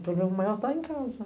O problema maior está em casa.